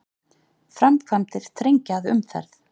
Framkvæmdir þrengja að umferð